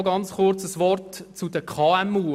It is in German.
Noch kurz ein Wort zu den KMU: